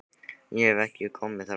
Ég hef ekki komið þar áður.